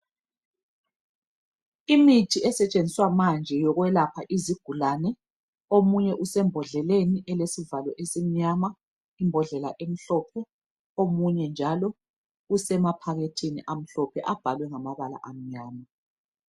Imithi esetshenziswa manje yokwelapha izigulane, omunye usembodleleni elesivalo esimnyama, imbodlela emhlophe, usemaphakethini amhlophe abhalwe ngamabala amnyama.